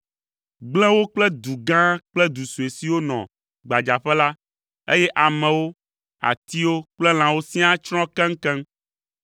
gblẽ wo kple du gã kple du sue siwo nɔ gbadzaƒe la, eye amewo, atiwo kple lãwo siaa tsrɔ̃ keŋkeŋ.